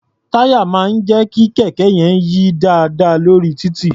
Táyà máà ń jẹ́ kí kẹ̀kẹ́ yí dáadáa lórí títì.